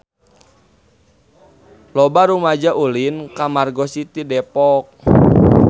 Loba rumaja ulin ka Margo City Depok